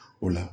O la